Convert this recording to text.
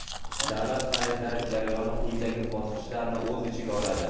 davlat xaridlari jarayoni quyidagi bosqichlarni o‘z ichiga oladi:.